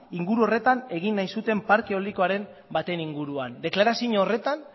inguru horretan egin nahi zuten parke eoliko baten inguruan deklarazio horretan